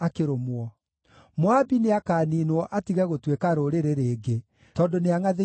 Moabi nĩakaniinwo atige gũtuĩka rũrĩrĩ rĩngĩ, tondũ nĩangʼathĩirie Jehova.